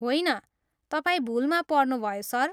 होइन, तपाईँ भुलमा पर्नुभयो, सर।